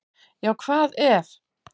Já hvað ef!